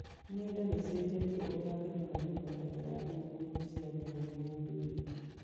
Ng’enda nĩ ĩcenjetie ũrĩa AKenya manyitanagĩra thigũkũ-inĩ cia ndini na ũndũire.